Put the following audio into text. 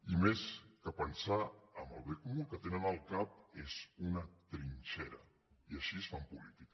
i més que pensar en el bé comú el que tenen al cap és una trinxera així fan política